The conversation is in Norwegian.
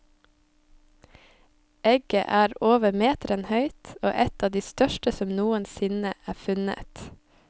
Egget er over meteren høyt og et av de største som noensinne er funnet.